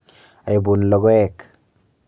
Aipun logoek.